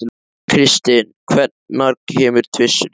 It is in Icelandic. Kristin, hvenær kemur tvisturinn?